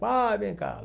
Pai, vem cá.